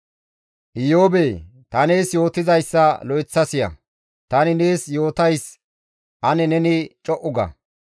«Iyoobee! Ta nees yootizayssa lo7eththa siya; tani nees yootays ane neni co7u ga.